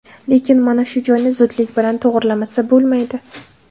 Lekin mana shu joyni zudlik bilan to‘g‘rilamasa, bo‘lmaydi.